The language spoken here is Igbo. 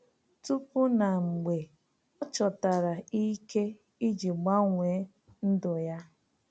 Tupu na mgbe — Ọ chọtara ike iji gbanwee ndụ ya.